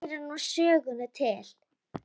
Þeir heyra nú sögunni til.